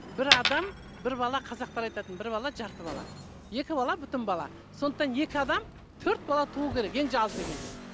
бір адам бір бала қазақтар айтатын бір бала жарты бала екі бала бүтін бала сондықтан екі адам төрт бала туу керек ең аз дегенде